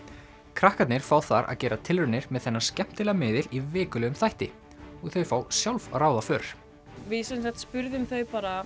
krakkarnir fá þar að gera tilraunir með þennan skemmtilega miðil í vikulegum þætti og þau fá sjálf að ráða för við sem sagt spurðum þau bara